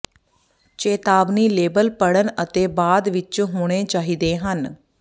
ਚੇਤਾਵਨੀ ਲੇਬਲ ਪੜ੍ਹਨ ਅਤੇ ਬਾਅਦ ਵਿੱਚ ਹੋਣੇ ਚਾਹੀਦੇ ਹਨ